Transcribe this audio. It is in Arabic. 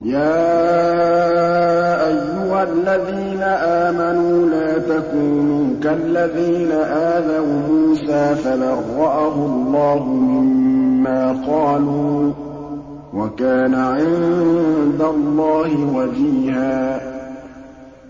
يَا أَيُّهَا الَّذِينَ آمَنُوا لَا تَكُونُوا كَالَّذِينَ آذَوْا مُوسَىٰ فَبَرَّأَهُ اللَّهُ مِمَّا قَالُوا ۚ وَكَانَ عِندَ اللَّهِ وَجِيهًا